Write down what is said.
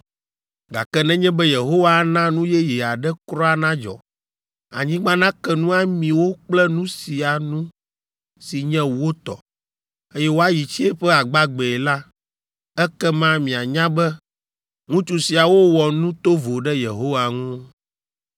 Gake nenye be Yehowa ana nu yeye aɖe kura nadzɔ, anyigba nake nu ami wo kple nu sia nu si nye wo tɔ, eye woayi tsiẽƒe agbagbee la, ekema mianya be ŋutsu siawo wɔ nu tovo ɖe Yehowa ŋu.”